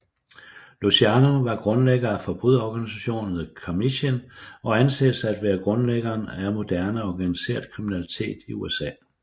Luciano var grundlægger af forbryderorganisationen The Commission og anses at være grundlæggeren af moderne organiseret kriminalitet i USA